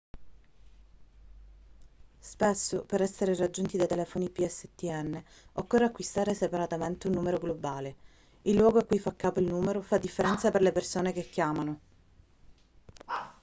spesso per essere raggiunti dai telefoni pstn occorre acquistare separatamente un numero globale il luogo a cui fa capo il numero fa differenza per le persone che chiamano